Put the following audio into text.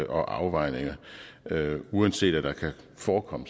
og afvejninger uanset at der kan forekomme